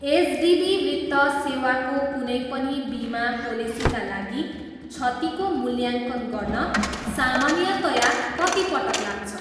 HDB वित्त सेवाको कुनै पनि बिमा पोलेसीका लागि क्षतिको मूल्याङ्कन गर्न सामान्यतया कति पटक लाग्छ?